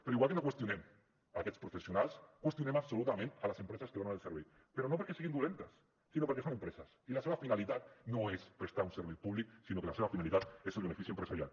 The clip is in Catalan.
però igual que no qüestionem aquests professionals qüestionem absolutament les empreses que donen el servei però no perquè siguin dolentes sinó perquè són empreses i la seva finalitat no és prestar un servei públic sinó que la seva finalitat és el benefici empresarial